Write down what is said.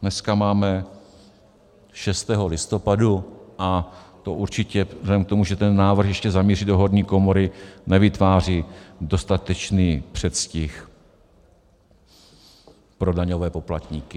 Dneska máme 6. listopadu a to určitě vzhledem k tomu, že ten návrh ještě zamíří do horní komory, nevytváří dostatečný předstih pro daňové poplatníky.